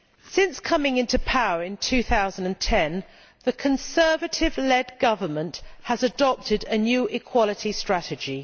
Since coming into power in 2010, the Conservative led government has adopted a new equality strategy.